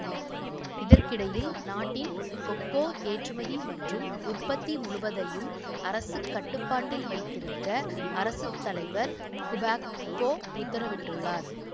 இதற்கிடையில் நாட்டின் கொக்கோ ஏற்றுமதி மற்றும் உற்பத்தி முழுவதையும் அரசுக் கட்டுப்பாட்டில் வைத்திருக்க அரசு தலைவர் குபாக்போ உத்தரவிட்டுள்ளார்